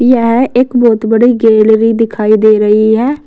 यह एक बहुत बड़ी गैलरी दिखाई दे रही है।